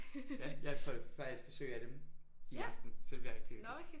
Ja jeg får faktisk besøg af dem i aften så det bliver rigtig hyggeligt